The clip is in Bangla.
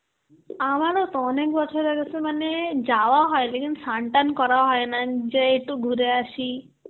আমারও তো অনেক বছর হয়ে গেছে মানে যাওয়া হয়, Hindi স্নান-টান করা হয় না, যেয়ে একটু ঘুরে আসি.